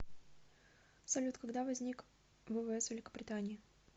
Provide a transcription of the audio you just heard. салют когда возник ввс великобритании